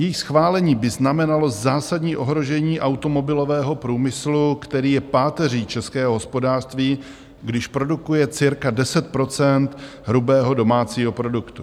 Její schválení by znamenalo zásadní ohrožení automobilového průmyslu, který je páteří českého hospodářství, když produkuje cirka 10 % hrubého domácího produktu.